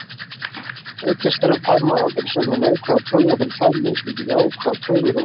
Auk þess fær maður aldrei sömu neikvæðu töluna fyrir tvær mismunandi jákvæðar tölur og öfugt.